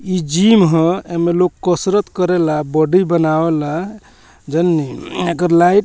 ई जिम ह एमें लोग कसरत करेला बॉडी बनावेला जननी एकर लाइट --